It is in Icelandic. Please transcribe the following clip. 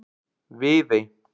Viðey